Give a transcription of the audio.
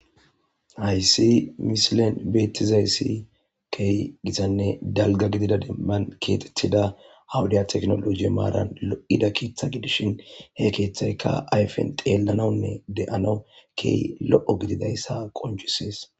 Hayssi misilen beettizayssi key gisanne dalga gidida demman keexethida awuday teknoloji maaran lo7ida keeththa gidishin he keeththaykka ayfen deellanawunne de7ana keey lo7o gididayssa qoncisees.